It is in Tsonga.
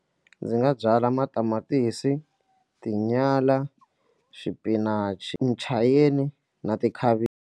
Ndzi nga byala matamatisi, tinyala, xipinachi, muchayeni na .